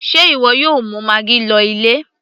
sé ìwọ yóò mú maggi lọ ilé